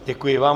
Děkuji vám.